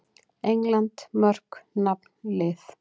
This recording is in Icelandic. England: Mörk- Nafn- Lið.